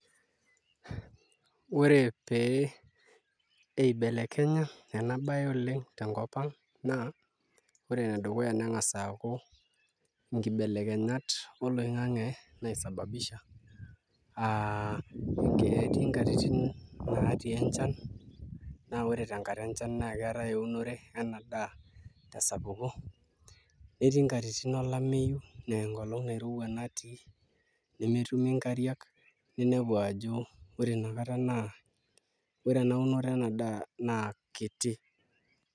Ore pee eibelekenya ena baye tenkop ang' naa ore enedukuya neng'as aaku nkibeleknyat oloing'ang'e naisababisha aa ketii nkatitin naatii enchan naa ore tenkata enchan naa keetai eunore ena daa tesapuko netii nkatitin olameyu naa enkolong' nairowua natii nemetumi nkariak ninepu ajo ore ina kata naa ore ena unore ena daa naa kiti.